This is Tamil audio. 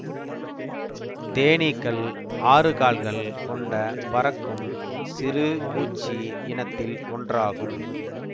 தேனீக்கள் ஆறுகால்கள் கொண்ட பறக்கும் சிறு பூச்சி இனத்தில் ஒன்றாகும்